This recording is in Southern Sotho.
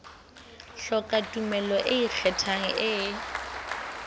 hloka tumello e ikgethang e